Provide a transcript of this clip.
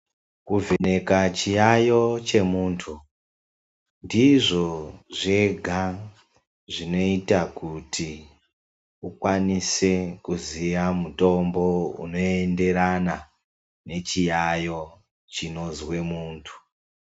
Kuvheneka chiyaeyo chemunhtu, ndizvo zvega zvinoita kuti ukwanise kuziya mutombo unoenderana nechiyaeyo chinozwe munhtu.